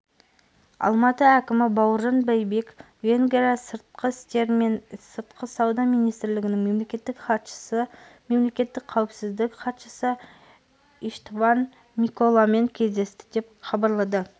алматы әкімі бауыржан байбек венгрия сыртқы істер мен сыртқы сауда министрлігінің мемлекеттік хатшысы мемлекеттік қауіпсіздік хатшысы иштван миколамен кездесті деп хабарлады